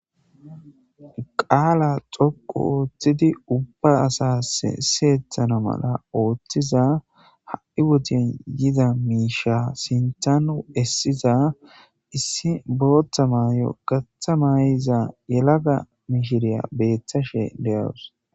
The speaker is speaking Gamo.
Qaala xoqu ooththidi ubba asas siyehana mala ooththiza ha7i wodiyn yida miisha sintanu essiza issi boottha maayo gatha maay7iza yelaga mishiriya beethashe deyawus.